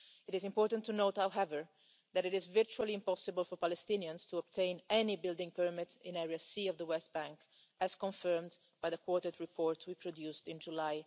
It is important to note, however, that it is virtually impossible for Palestinians to obtain any building permits in Area C of the West Bank, as confirmed by the quartet report we produced in July